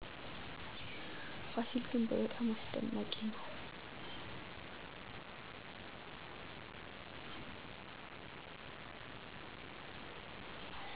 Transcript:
ፋሲል ግንብ በጣም አስደናቂ ነው